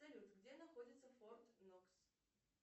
салют где находится форт нокс